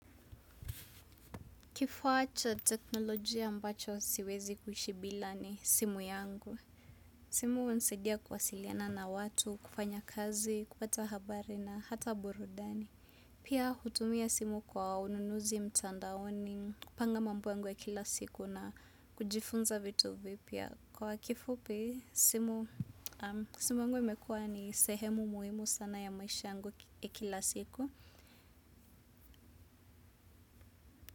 Kifaa cha technolojia ambacho siwezi kuishi bila ni simu yangu. Simu hunisaidia kuwasiliana na watu, kufanya kazi, kupata habari na hata burudani. Pia hutumia simu kwa ununuzi mtandaoni, kupanga mambo yangu ya kila siku na kujifunza vitu vipya. Kwa kifupi, simu, simu yangu imekuawa ni sehemu muhimu sana ya maisha yangu ya kila siku.